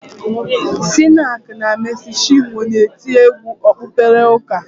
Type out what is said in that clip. Sinach na Mesi Chinwo na-eti egwu okpukpere ụka